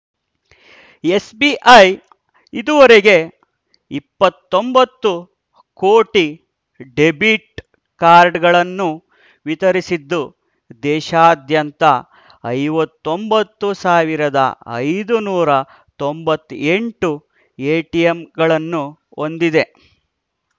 SBI ಇದುವರೆಗೆ ಇಪ್ಪತ್ತೊಂಬತ್ತು ಕೋಟಿ ಡೆಬಿಟ್‌ ಕಾರ್ಡ್‌ಗಳನ್ನು ವಿತರಿಸಿದ್ದು ದೇಶಾದ್ಯಂತ ಐವತ್ತೊಂಬತ್ತು ಸಾವಿರದ ಐದುನೂರ ತೊಂಬತ್ತೆಂಟು ಎಟಿಎಂಗಳನ್ನು ಹೊಂದಿದೆ